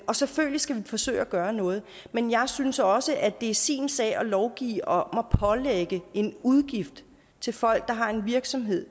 og selvfølgelig skal vi forsøge at gøre noget men jeg synes også at det er sin sag at lovgive om at pålægge en udgift til folk der har en virksomhed